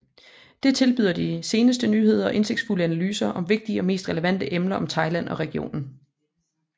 Det tilbyder de seneste nyheder og indsigtsfulde analyser om vigtige og mest relevante emner om Thailand og regionen